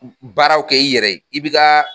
Baaraw kɛ i yɛrɛ ye, i bɛ ka